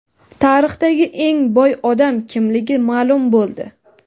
Tarixdagi eng boy odam kimligi ma’lum bo‘ldi.